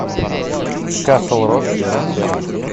касл рок сезон семь